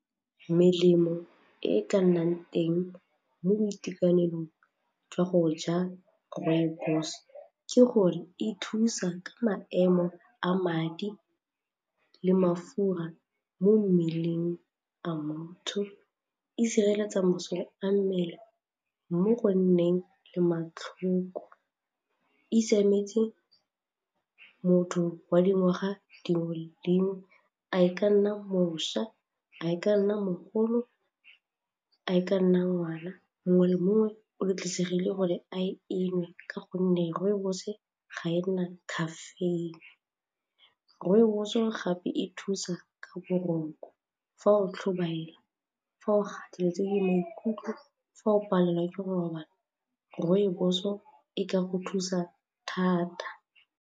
Melemo e e ka nnang teng mo boitekanelong jwa go ja rooibos ke gore e thusa ka maemo a madi le mafura mo mmeleng a motho, e sireletsa masole a mmele mo go nneng le matlhoko, e siametse motho wa dingwaga dingwe le dingwe a e ka nna mošwa, a e ka nna mogolo, a e ka nna ngwana, mongwe le mongwe o di tliseditse gore a e nwe ka gonne rooibos ga e na caffeine. Rooibos o gape e thusa ka boroko fa o tlhobaela fa o gateletse le maikutlo fa o palelwa ke go robala rooibos-o e ka go thusa thata.